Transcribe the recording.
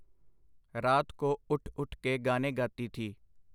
ਰਾਤ ਕੋ ਉਠ ਉਠ ਕੇ ਗਾਨੇ ਗਾਤੀ ਥੀ.